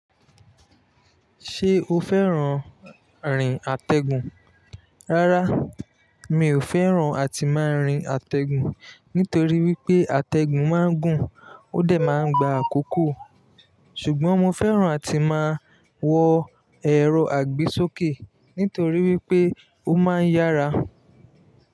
Ṣé o fẹ́ràn rin àtẹ̀gùn? Rárá, mi ò fẹ́ràn àti máa rin àtẹ̀gùn nítorí wípé àtẹ̀gùn má ń gùn ó dẹ̀ má ń gba àkókò. Ṣùgbọ́n mo fẹ́ràn àti máa wọ ẹ̀rọ àgbésókè nítorí wípé ó má ń yára.